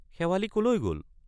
শেৱালি কলৈ গল?